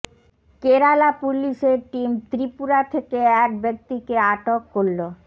কেরালা পুলিশের টিম ত্রিপুরা থেকে এক ব্যক্তিকে আটক করলো